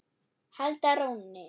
halda rónni.